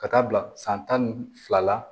Ka taa bila san tan ni fila la